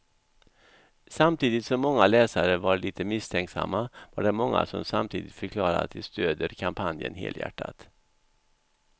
Samtidigt som många läsare var lite misstänksamma var det många som samtidigt förklarade att de stödjer kampanjen helhjärtat.